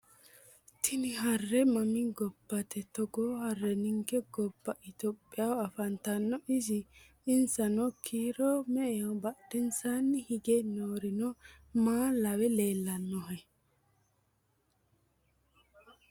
Tini harre mami gobbate? Togoo harre ninke gobba itiyophiyaho afantanno isi? Insano kiiro me'eho? Badheensaanni hige noorino maa lawe leellanohe?